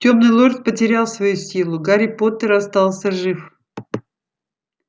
тёмный лорд потерял свою силу гарри поттер остался жив